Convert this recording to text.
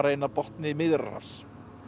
inn að botni Miðjarðarhafs